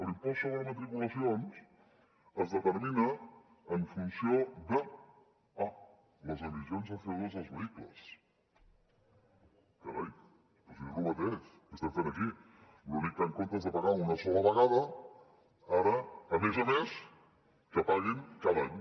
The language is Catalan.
l’impost sobre matriculacions es determina en funció de ah les emissions de coestem fent aquí l’únic que en comptes de pagar una sola vegada ara a més a més que paguin cada any